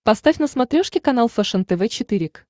поставь на смотрешке канал фэшен тв четыре к